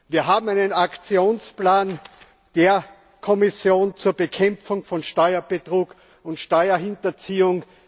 Wir haben einen Aktionsplan der Kommission zur Bekämpfung von Steuerbetrug und Steuerhinterziehung.